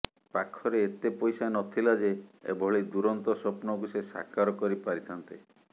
ପାଖରେ ଏତେ ପଇସା ନଥିଲା ଯେ ଏଭଳି ଦୂରନ୍ତ ସ୍ୱପ୍ନକୁ ସେ ସାକାର କରି ପାରିଥାନ୍ତେ